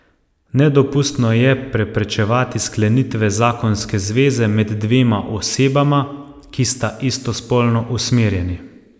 Nedopustno je preprečevati sklenitve zakonske zveze med dvema osebama, ki sta istospolno usmerjeni.